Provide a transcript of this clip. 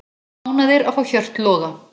Ánægðir að fá Hjört Loga